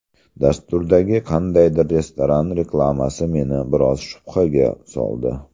Dasturdagi qandaydir restoran reklamasi meni biroz shubhaga soldi.